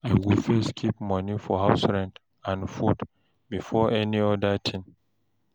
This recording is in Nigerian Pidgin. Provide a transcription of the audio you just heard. I go first keep money for house rent and food before any other thing.